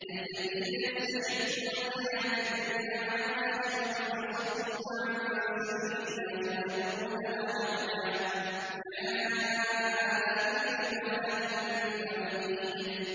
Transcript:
الَّذِينَ يَسْتَحِبُّونَ الْحَيَاةَ الدُّنْيَا عَلَى الْآخِرَةِ وَيَصُدُّونَ عَن سَبِيلِ اللَّهِ وَيَبْغُونَهَا عِوَجًا ۚ أُولَٰئِكَ فِي ضَلَالٍ بَعِيدٍ